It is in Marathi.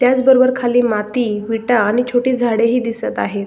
त्याच बरोबर खाली माती विटा आणि छोटी झाडे ही दिसत आहेत.